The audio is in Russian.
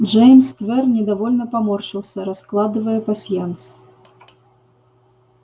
джеймс твер недовольно поморщился раскладывая пасьянс